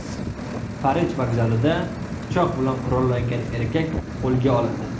Parij vokzalida pichoq bilan qurollangan erkak qo‘lga olindi.